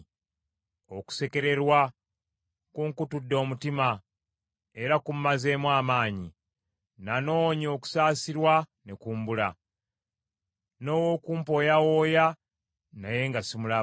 Okusekererwa kunkutudde omutima era kummazeemu amaanyi. Nanoonya okusaasirwa ne kumbula, n’ow’okumpooyawooya naye nga simulaba.